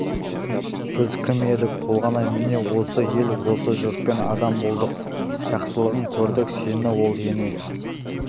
біз кім едік толғанай міне осы ел осы жұртпен адам болдық жақсылығын көрдік сені ол ене